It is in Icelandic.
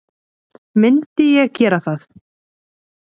Myndi ég gera það?